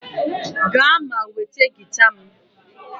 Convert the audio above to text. Gaa ma nweta gita m!